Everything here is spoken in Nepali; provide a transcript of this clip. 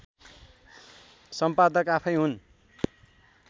सम्पादक आफैँ हुन्